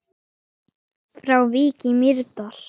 Frá Vík í Mýrdal